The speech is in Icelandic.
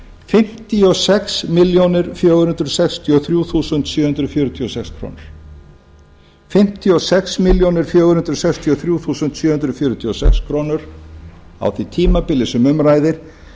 fimmtíu og sex milljónir fjögur hundruð sextíu og þrjú þúsund sjö hundruð fjörutíu og sex krónur á því tímabili sem um ræðir